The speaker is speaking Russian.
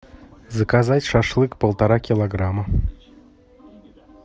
заказать шашлык полтора килограмма